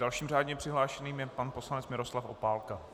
Dalším řádně přihlášeným je pan poslanec Miroslav Opálka.